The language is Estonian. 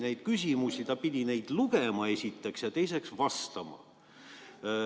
Ta pidi esiteks neid ette lugema ja teiseks neile vastama.